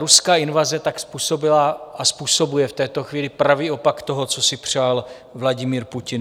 Ruská invaze tak způsobila a způsobuje v této chvíli pravý opak toho, co si přál Vladimír Putin.